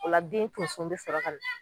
O la den tonso be sɔrɔ kana